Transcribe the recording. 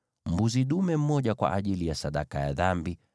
mbuzi dume mmoja kwa ajili ya sadaka ya dhambi;